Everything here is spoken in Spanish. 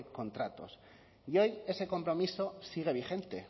contratos y hoy ese compromiso sigue vigente